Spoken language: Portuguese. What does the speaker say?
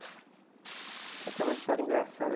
Tem até uma história engraçada.